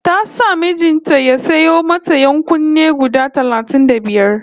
Ta sa mijin ta ya sayo mata ƴan-kunne guda talatin da biyar